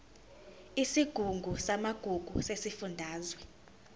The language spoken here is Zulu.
isigungu samagugu sesifundazwe